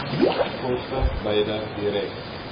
koste beide direk